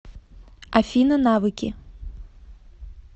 афина навыки